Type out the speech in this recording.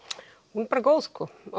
hún er bara góð